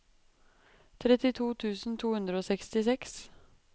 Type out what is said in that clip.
trettito tusen to hundre og sekstiseks